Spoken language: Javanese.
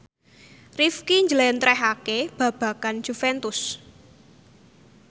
Rifqi njlentrehake babagan Juventus